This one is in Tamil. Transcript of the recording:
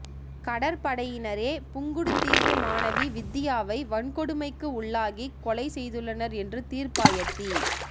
கடற்படையினரே புங்குடுதீவு மாணவி வித்தியாவை வன்கொடுமைக்கு உள்ளாகிக் கொலை செய்துள்ளனர் என்று தீர்ப்பாயத்தி